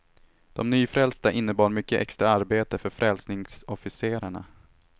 De nyfrälsta innebar mycket extra arbete för frälsningsofficerarna.